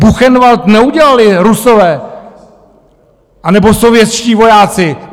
Buchenwald neudělali Rusové anebo sovětští vojáci!